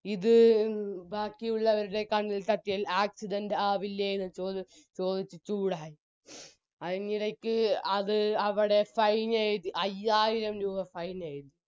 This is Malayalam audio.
ഇത് ബാക്കിയുള്ളവരുടെ കണ്ണിൽ തട്ടിയാൽ accident ആവില്ലെന്ന് ചോദിച്ച് police ചൂടായി ആയിന്റിടക്ക് അത് അവിടെ fin എയ്‌തി അയ്യായിരം രൂപ fine എയ്തി